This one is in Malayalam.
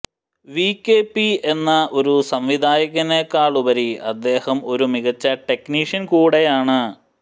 വി കെ പി എന്ന ഒരു സംവിധായകനെക്കാളുപരി അദ്ദേഹം ഒരു മികച്ച ടെക്നിഷ്യൻ കൂടെയാണ്